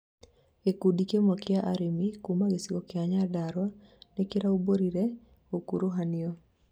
gĩkundi kĩmwe kĩa aremi kuma gĩcigo kia Nyandarua nikĩraũmbũrire gũkuruhanio